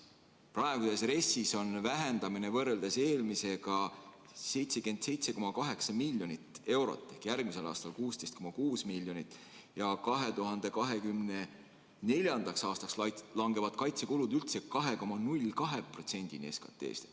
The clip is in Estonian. Praeguses RES-is on vähenemine võrreldes eelmisega 77,8 miljonit eurot ehk järgmisel aastal on need 16,6 miljonit eurot ja 2024. aastaks langevad kaitsekulud üldse 2,02%-ni SKT-st.